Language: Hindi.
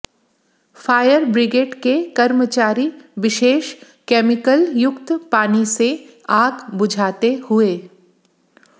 फायर ब्रिग्रेड के कर्मचारी विशेष कैमिकल युक्त पानी से आग बुझाते हुए